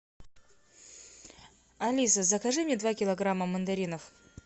алиса закажи мне два килограмма мандаринов